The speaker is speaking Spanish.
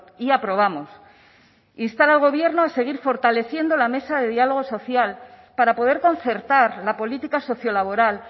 y aprobamos instar al gobierno a seguir fortaleciendo la mesa de diálogo social para poder concertar la política sociolaboral